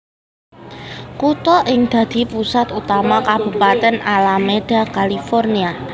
Kutha iki dadi pusat utama Kabupatèn Alameda California